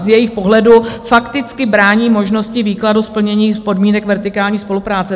Z jejich pohledu fakticky brání možnosti výkladu splnění podmínek vertikální spolupráce.